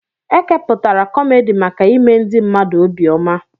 Ekepụtara kọmedi maka ime ndị mmadụ obi ọma.